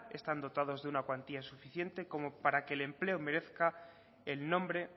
están dotados de una cuantía suficiente como para que el empleo merezca el nombre